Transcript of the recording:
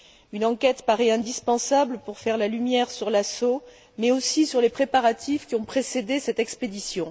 Une enquête paraît indispensable pour faire la lumière sur l'assaut, mais aussi sur les préparatifs qui ont précédé cette expédition.